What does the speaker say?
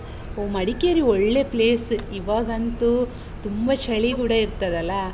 ಹೋ ಮಡಿಕೇರಿ ಒಳ್ಳೇ place . ಇವಾಗಂತೂ ತುಂಬ ಚಳಿ ಕೂಡ ಇರ್ತದಲಾ?